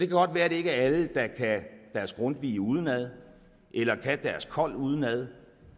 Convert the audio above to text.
godt være at det ikke er alle der kan deres grundtvig udenad eller kan deres kold udenad